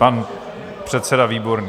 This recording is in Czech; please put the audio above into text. Pan předseda Výborný.